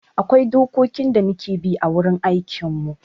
Akwai dokokin da muke bi a wurin aikin mu